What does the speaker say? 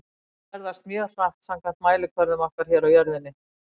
Ljós ferðast mjög hratt samkvæmt mælikvörðum okkar hér á jörðinni.